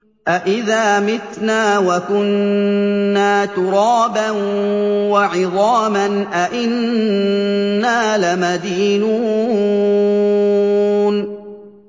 أَإِذَا مِتْنَا وَكُنَّا تُرَابًا وَعِظَامًا أَإِنَّا لَمَدِينُونَ